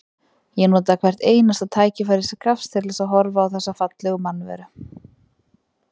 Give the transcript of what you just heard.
Ég notaði hvert einasta tækifæri sem gafst til þess að horfa á þessa fallegu mannveru.